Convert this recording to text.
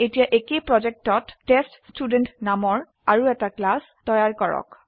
এতিয়া একেই প্ৰজেক্টত টেষ্টষ্টুডেণ্ট নামৰ আৰুএটা ক্লাস তৈয়াৰ কৰক